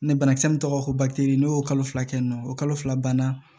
banakisɛ min tɔgɔ ko bakiteri y'o fila kɛ yen nɔ o kalo fila banna